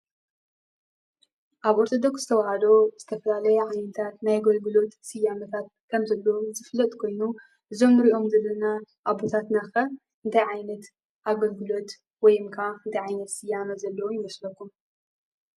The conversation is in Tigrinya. ኣብ ኦርቶዶክስ ተዋህዶ ዝተፈላለየ ዓይነታት ናይ ኣገልግሎት ስያመታት ከምዘለዉ ዝፍለጥ ኮይኑ እዞም ንሪኦም ዘለዉ ኣቦታትና ኸ እታይ ዓይነት ኣገልግሎት ወይ ከዓ እንታይ ዓይነት ስያመ ዘለዎም ይመስለኩም?